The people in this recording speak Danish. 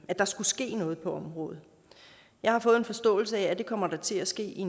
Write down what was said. at der skulle ske noget på området jeg har fået den forståelse at der kommer til at ske